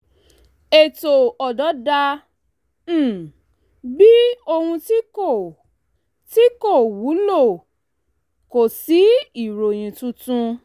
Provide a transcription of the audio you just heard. ètò ọ̀dọ́ dà um bí ohun tí kò tí kò wúlò kò sí ìròyìn tuntun